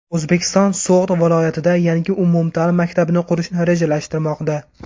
O‘zbekiston So‘g‘d viloyatida yangi umumta’lim maktabini qurishni rejalashtirmoqda.